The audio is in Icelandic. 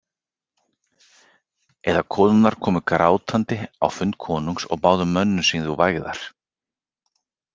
Eða konurnar komu grátandi á fund konungs og báðu mönnum sínum vægðar.